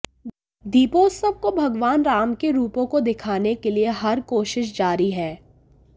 दीपोत्सव को भगवान राम के रूपों को दिखाने के लिए हर कोशिश जारी है